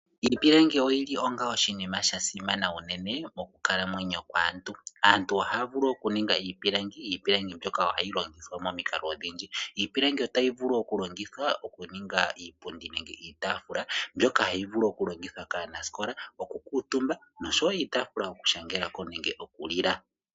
Iipilangi oyili onga oshinima sha simana unene mokukalamwenyo kwaantu. Aantu ohaya vulu oku ninga iipilangi, iipilangi mbyoka ohayi vulu oku longithwa momikalo odhindji. Iipilangi otayi vulu oku longithwa oku ninga iipundi nenge iitaafula, mbyoka hayi vulu oku longithwa kaanasikola oku kuutumba nosho wo iitaafula yoku shangelako nenge oku lila.